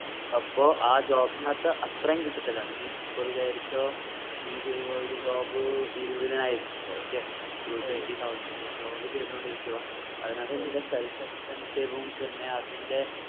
അപ്പോ ആ job നാത്തു അത്രേം കിട്ടതില്ല നീ ഇപ്പൊ വിചാരിച്ചോ നീ ചെയ്യുന്ന ഒരു job ഇരുപത്തിനായിരത്തിന്റെ okay two twenty thousand ന്റെ ഒരു job ചെയ്‌തോണ്ടിരിക്കുവാ അതിനാത്ത് നിൻറ്റെ self expensive ഉം പിന്നെ അതിന്റെ